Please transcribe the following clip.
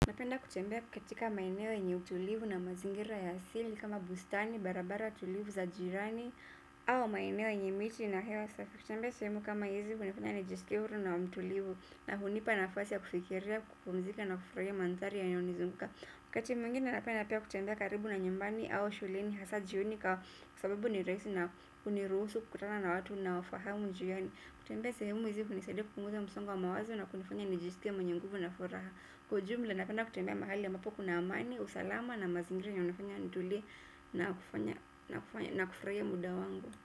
Napenda kutembea katika maeneo yenye utulivu na mazingira ya asili kama bustani, barabara tulivu za jirani au maeneo yenye miti na hewa safi. Kutembea sehemu kama hizi hunifanya nijiskie huru na mtulivu na hunipa nafasi ya kufikiria kupumzika na kufurahia mandhari yanayonizunguka wakati mwingine napenda pia kutembea karibu na nyumbani au shuleni hasa jioni kwa sababu ni rahisi na hunirusu kukutana na watu ninaofahamu njiani. Kutembea semu hizi hunisaidia kupunguza msongo wa mawazo na kunifanya nijiskie mwenye nguvu na furaha kwa ujumla napenda kutembea mahali ambapo kuna amani, usalama na mazingira inayonifanya nitulie na kufanya na kufurahia muda wangu.